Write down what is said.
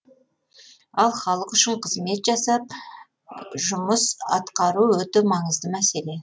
ал халық үшін қызмет жасап жұмыс атқару өте маңызды мәселе